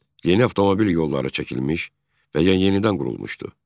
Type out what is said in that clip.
Yeni avtomobil yolları çəkilmiş və ya yenidən qurulmuşdu.